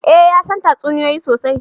Eh ya san tatsuniyoyi sosai